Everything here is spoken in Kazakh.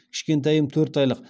кішкентайым төрт айлық